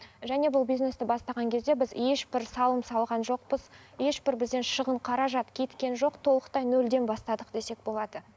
және бұл бизнесті бастаған кезде біз ешбір салым салған жоқпыз ешбір бізден шығын қаражат кеткен жоқ толықтай нөлден бастадық десек болады